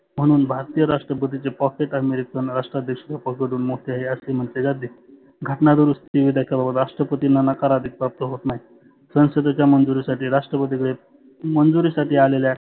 म्हणुन भारतीय राष्ट्रपतीचे pocket अमेरीकन राष्ट्र अध्यक्ष हुन मोठे आहे असे म्हटले जाते. घटना दुरुस्ती राष्ट्रपतींना नकार अधिकार प्राप्त होत नाही. संसदेच्या मंजुरी साठी राष्ट्रपती कडे मंजुरी साठी आलेल्या